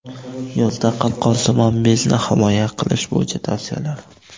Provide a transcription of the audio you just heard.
Yozda qalqonsimon bezni himoya qilish bo‘yicha tavsiyalar.